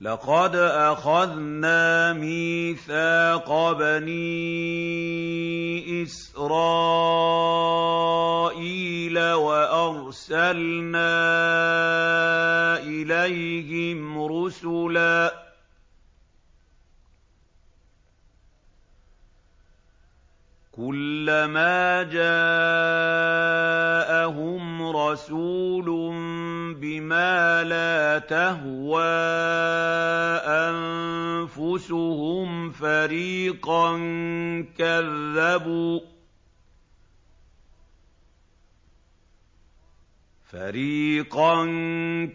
لَقَدْ أَخَذْنَا مِيثَاقَ بَنِي إِسْرَائِيلَ وَأَرْسَلْنَا إِلَيْهِمْ رُسُلًا ۖ كُلَّمَا جَاءَهُمْ رَسُولٌ بِمَا لَا تَهْوَىٰ أَنفُسُهُمْ فَرِيقًا